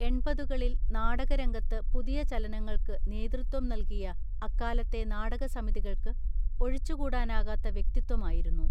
എൺപതുകളിൽ നാടക രംഗത്ത് പുതിയ ചലനങ്ങൾക്ക് നേതൃത്വം നൽകിയ അക്കാലത്തെ നാടക സമിതികൾക്ക് ഒഴിച്ചു കൂടാനാകാത്ത വ്യക്തിത്വമായിരുന്നു